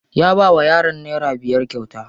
Ya bawa yaran nera biyar kyauta.